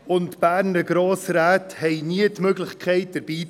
Die Berner Grossräte haben nie die Möglichkeit, dabei zu sein.